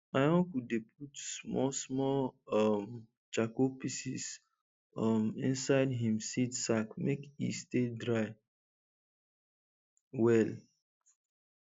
my uncle dey put small small um charcoal pieces um inside him seed sack make e stay dry well